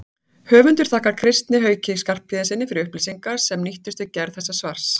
Höfundur þakkar Kristni Hauki Skarphéðinssyni fyrir upplýsingar sem nýttust við gerð þessa svars.